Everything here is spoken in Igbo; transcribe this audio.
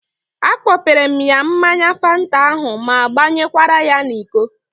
A kpọpere m ya mmanya Fanta ahụ ma gbanyekwara ya n'iko